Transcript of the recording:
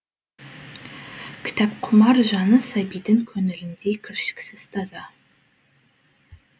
кітапқұмар жаны сәбидің көңіліндей кіршіксіз таза